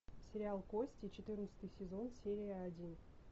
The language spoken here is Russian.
сериал кости четырнадцатый сезон серия один